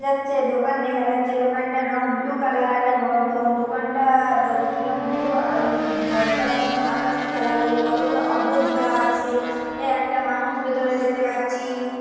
যাচ্ছে দোকান দেখা যাচ্ছে। দোকানটার রং ব্লু কালার আর দো-দোকান টা দরজাটার রং ব্লু আর ঘরটার রং আকাশি কালার -এর কতগুলো অভ্র দিবা আছে। এ একটা মানুষ ভেতরে দেখতে পাচ্ছি।